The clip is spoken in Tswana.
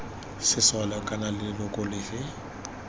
sesole kana d leloko lefe